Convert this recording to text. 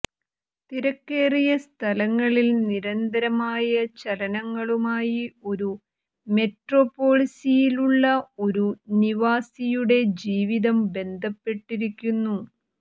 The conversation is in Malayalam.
തിരക്കേറിയ സ്ഥലങ്ങളിൽ നിരന്തരമായ ചലനങ്ങളുമായി ഒരു മെട്രോപോളിസിലുള്ള ഒരു നിവാസിയുടെ ജീവിതം ബന്ധപ്പെട്ടിരിക്കുന്നു